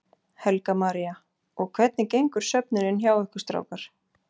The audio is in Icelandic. Helga María: Og hvernig gengur söfnunin hjá ykkur strákar?